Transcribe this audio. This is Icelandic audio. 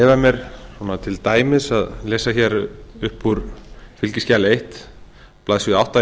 að leyfa mér svona til dæmis að lesa hér upp úr fylgiskjali eina blaðsíðu átta í